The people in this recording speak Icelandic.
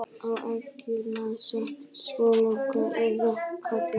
Á eggjunum sat svo slanga eða karta.